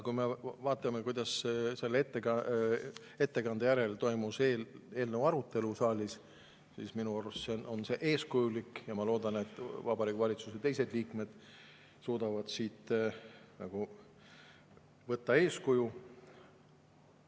Kui me vaatame, kuidas selle ettekande järel toimus eelnõu arutelu saalis, siis minu arust on see olnud eeskujulik, ja ma loodan, et Vabariigi Valitsuse teised liikmed suudavad siit võtta eeskuju.